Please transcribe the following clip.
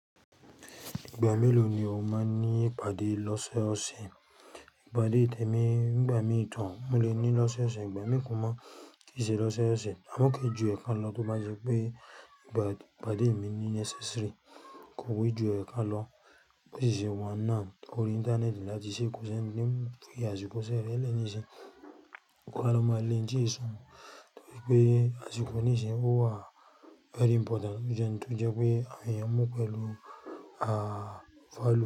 Ìgbà mélòó ni o máa ń ní ìpàdé lọ́sọ́ọ̀ọ̀sẹ̀? Ìpàdé tẹ̀mi nígbà míi, mó le ní lọ́sọ́ọ̀ọ̀sẹ̀, ìgbà mí kò máa ti ṣe lọ́sọ́ọ̀ọ̀sẹ̀. Àmọ́ kí i ju ẹ̀kan lọ tó bá jẹ́ pé ìpàdé mi necessary kò e ju ẹ̀kan lọ. Bó sì ṣe wá náà órí íńtánẹ́ẹ̀tì láti ṣe kósi ẹni tí ń fi àsìkò iṣẹ́ rẹ̀ nísinyìí, kò wá lè máa lé ohun tí eṣùn torí pé àsìkò nísìnyí ó wà very important ó jẹ́ ohun tó jẹ́ pé àwọn èèyàn mú pẹ̀lú value.